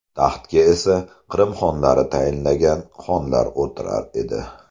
Taxtga esa Qrim xonlari tayinlagan xonlar o‘tirar edi.